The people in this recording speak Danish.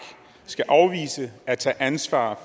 skal afvise at tage ansvar